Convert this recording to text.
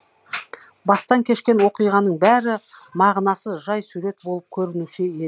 бастан кешкен оқиғаның бәрі мағынасыз жай сурет болып көрінуші еді